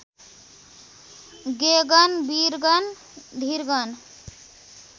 गेगन वीरगन धीरगन